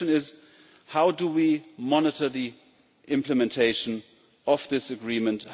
The question is how we monitor the implementation of this agreement.